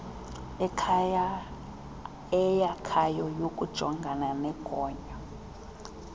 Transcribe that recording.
eyakhayo yokujongana nogonyo